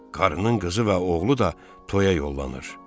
Qarının qızı və oğlu da toyaya yollanır.